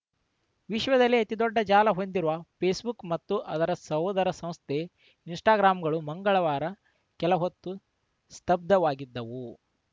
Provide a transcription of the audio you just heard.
ವಿಶ್ವದಲ್ಲೇ ಅತಿದೊಡ್ಡ ಜಾಲ ಹೊಂದಿರುವ ಫೇಸ್‌ಬುಕ್‌ ಮತ್ತು ಅದರ ಸೋದರ ಸಂಸ್ಥೆ ಇನ್‌ಸ್ಟಾಗ್ರಾಂಗಳು ಮಂಗಳವಾರ ಕೆಲಹೊತ್ತು ಸ್ತಬ್ಧವಾಗಿದ್ದವು